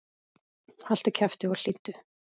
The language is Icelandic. Haltu kjafti og hlýddu!